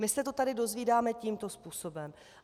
My se to tady dozvídáme tímto způsobem.